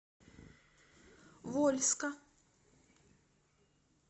вольска